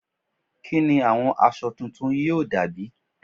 Kí ni àwọn aṣọ tuntun yóò dà bí?